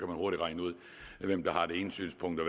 hurtigt regne ud hvem der har det ene synspunkt og